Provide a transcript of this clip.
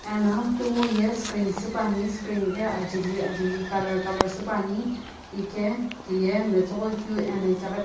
ena kunguye screen supuani screen ghi ajeli ajeli color color supuani ike tiye metsughoi keu ena itaghi--